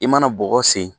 I mana bɔgɔ sen